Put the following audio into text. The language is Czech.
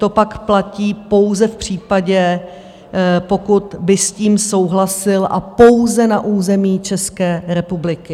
To pak platí pouze v případě, pokud by s tím souhlasil, a pouze na území České republiky.